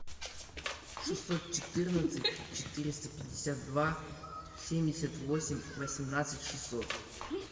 шестьсот четырнадцать четыреста пятьдесят два семьдесят восемь восемнадцать шестьсот